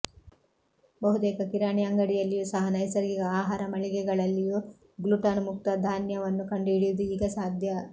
ಬಹುತೇಕ ಕಿರಾಣಿ ಅಂಗಡಿಯಲ್ಲಿಯೂ ಸಹ ನೈಸರ್ಗಿಕ ಆಹಾರ ಮಳಿಗೆಗಳಲ್ಲಿಯೂ ಗ್ಲುಟನ್ ಮುಕ್ತ ಧಾನ್ಯವನ್ನು ಕಂಡುಹಿಡಿಯುವುದು ಈಗ ಸಾಧ್ಯ